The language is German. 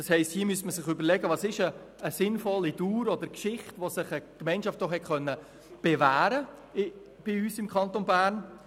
Hier müsste man sich überlegen, welche Dauer oder Geschichte, während der sich eine Gemeinschaft bei uns im Kanton Bern bewähren konnte, sinnvoll ist.